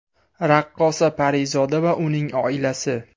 Raqqosa Parizoda va uning oilasi.